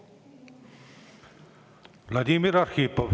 Vladimir Arhipov.